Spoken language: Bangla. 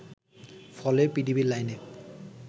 ফলে পিডিবির লাইনে